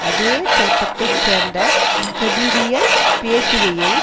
அதே தோட்டத்தை சேர்ந்த கபிரியல் பேசுகையில்